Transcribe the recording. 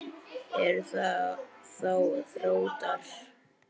Eru það þá Þróttarar?